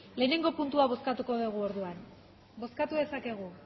bale lehenengo puntua bozkatu dugu orduan bozkatu dezakegu